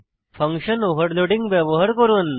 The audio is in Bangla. ফাংশন ওভারলোডিং ব্যবহার করুন